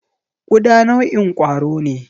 Ƙuda nau'in kwaro ne.